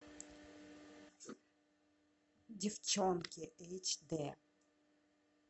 девчонки эйч дэ